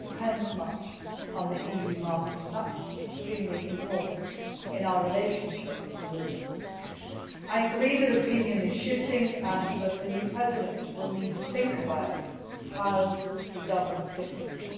It depends greatly on the EU market, and that is extremely important in our relationship with Russia. I agree that opinion is shifting and that the new President will need to think about how he governs differently.